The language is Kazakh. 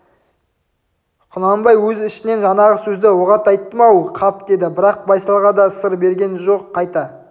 құнанбай өз ішінен жаңағы сөзді оғат айттым-ау қап деді бірақ байсалға да сыр берген жоқ қайта